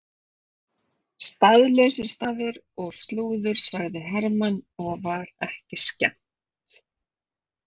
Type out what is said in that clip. Staðlausir stafir og slúður sagði Hermann og var ekki skemmt.